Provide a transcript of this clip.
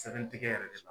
Sɛbɛntigɛ yɛrɛ de la